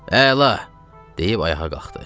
Əla, deyib ayağa qalxdı.